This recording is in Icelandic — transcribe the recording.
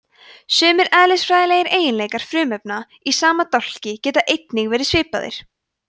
sumir eðlisfræðilegir eiginleikar frumefna í sama dálki geta einnig verið svipaðir